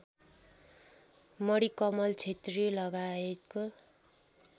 Manikamal छेत्रीलगायतको